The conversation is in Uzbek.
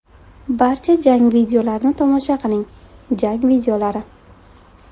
Barcha jang videolarini tomosha qiling → jang videolari .